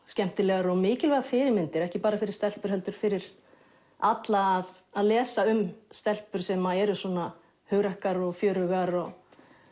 skemmtilegar og mikilvægar fyrirmyndir ekki bara fyrir stelpur heldur fyrir alla að að lesa um stelpur sem eru svona hugrakkar og fjörugar og